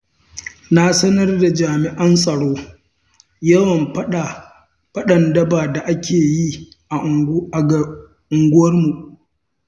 Na sanar da jami'an tsaro yawan faɗan daba da ake yi a unguwarmu.